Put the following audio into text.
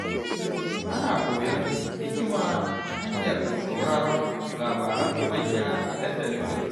Ana koyon hikima ta hanyar sauraron labaran manya a dandalin gari.